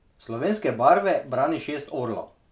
Slovenske barve brani šest orlov.